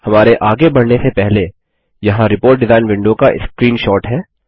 हमारे आगे बढ़ने से पहले यहाँ रिपोर्ट डिजाइन विंडो का स्क्रीनशॉट है